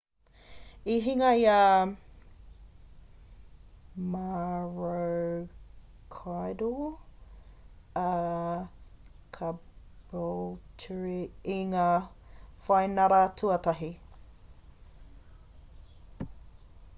i hinga i a maroochydore a caboolture i ngā whainara tuatahi